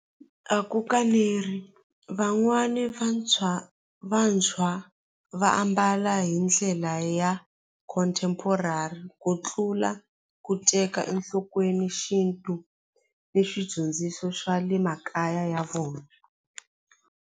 A van'wani vantshwa vantshwa va ambala hi ndlela ya contemporary ku tlula ku teka enhlokweni xintu na swidyondziso swa le makaya ya vona.